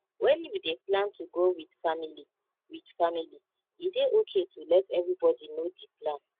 when you dey plan to go with family with family e dey okay to let everybody know di plan